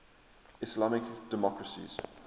islamic democracies